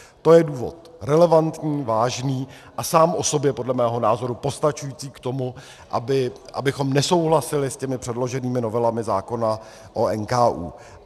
To je důvod, relevantní, vážný a sám o sobě podle mého názoru postačující k tomu, abychom nesouhlasili s těmi předloženými novelami zákona o NKÚ.